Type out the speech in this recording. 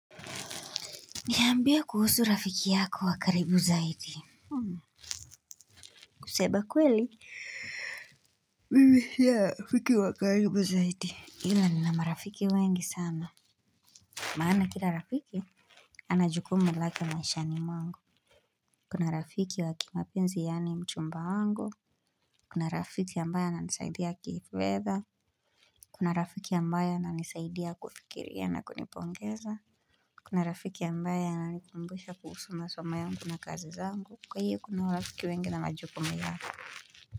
Niambie kuhusu rafiki yako wa karibu zaidi kusema kweli, Mimi sina rafiki wa karibu zaidi. Ila nina marafiki wengi sana maana kila rafiki anajukumu lake maishani mwangu Kuna rafiki wa kimapenzi yaani mchumba wangu Kuna rafiki ambaye ananisaidia kifedha Kuna rafiki ambaye ananisaidia kufikiria na kunipongeza Kuna rafiki ambaye ananikumbusha kuhusu masom yangu na kazi zangu, kwa hiyo kuna marafiki wengi na wajukumu yao.